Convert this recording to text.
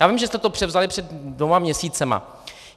Já vím, že jste to převzali před dvěma měsíci.